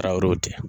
Araw cɛ